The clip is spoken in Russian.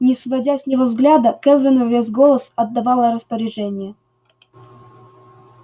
не сводя с него взгляда кэлвин во весь голос отдавала распоряжения